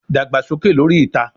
Dagba soke lori ita